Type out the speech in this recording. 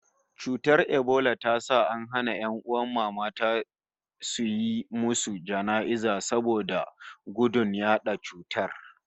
Cutar ebola ta sa an hana ƴan'uwan mamata suyi musu jana'iza saboda gudun yaɗa cutar